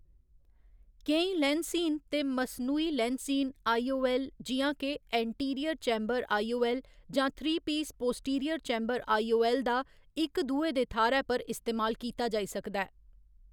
केईं लैंसहीन ते मसनूही लैंसहीन आई. ओ. ऐल्ल., जि'यां जे anterior chamber I. O. L. जां three piece posterior chamber I. O. L., दा इक दुए दे थाह्‌‌‌रै पर इस्तेमाल कीता जाई सकदा ऐ।